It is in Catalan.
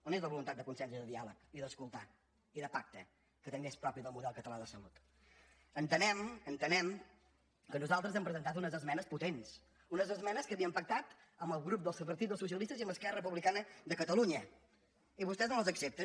on és la voluntat de consens i de diàleg i d’escoltar i de pacte que també és propi del model català de salut entenem entenem que nosaltres hem presentat unes esmenes potents unes esmenes que havíem pactat amb el grup del partit dels socialistes i amb esquerra republicana de catalunya i vostès no les accepten